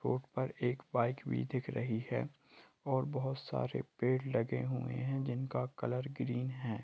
उपर एक बाइक भी दिख रही है और बहुत सारे पड़े लगे हुए है जिनका कलर ग्रीन है।